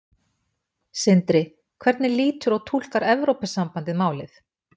Sindri: Hvernig lítur og túlkar Evrópusambandið málið?